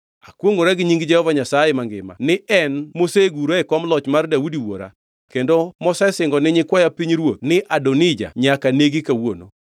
Akwongʼora gi nying Jehova Nyasaye mangima ni en mosegura e kom loch mar Daudi wuora kendo mosesingo ni nyikwaya pinyruoth ni Adonija nyaka negi kawuono!”